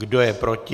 Kdo je proti?